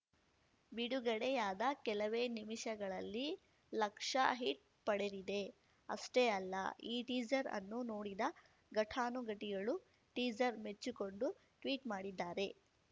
ಬಿಡುಗಡೆಯಾದ ಕೆಲವೇ ನಿಮಿಷಗಳಲ್ಲಿ ಲಕ್ಷ ಹಿಟ್ ಪಡೆದಿದೆ ಅಷ್ಟೇ ಅಲ್ಲ ಈ ಟೀಸರ್ ಅನ್ನು ನೋಡಿದ ಘಟಾನುಘಟಿಗಳು ಟೀಸರ್ ಮೆಚ್ಚಿಕೊಂಡು ಟ್ವೀಟ್‌ ಮಾಡಿದ್ದಾರೆ